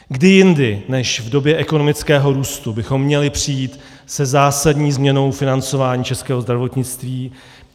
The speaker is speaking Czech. Kdy jindy než v době ekonomického růstu bychom měli přijít se zásadní změnou financování českého zdravotnictví?